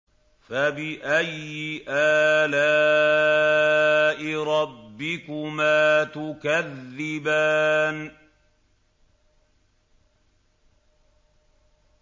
فَبِأَيِّ آلَاءِ رَبِّكُمَا تُكَذِّبَانِ